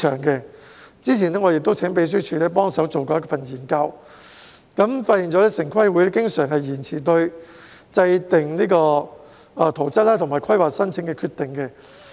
較早前，我請立法會秘書處幫忙進行研究，結果發現城市規劃委員會經常延遲對制訂圖則和規劃申請的決定。